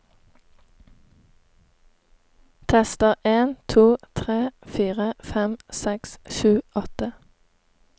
Tester en to tre fire fem seks sju åtte